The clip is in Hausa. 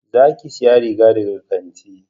Za ki saya riga daga kanti